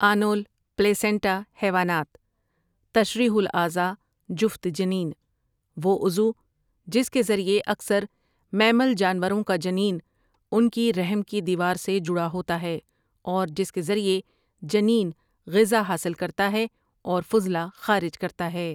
آنول placenta حیوانیات، تشریح الاعضا جفت جنین، وہ عضو جس کے ذریعے اکثر میمل جانوروں کا جنین ان کی رحم کی دیوار سے جڑا ہوتا ہے اور جس کے ذریعے جنین غذا حاصل کرتا ہے اور فضلہ خارج کرتا ہے۔